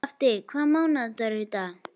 Skafti, hvaða mánaðardagur er í dag?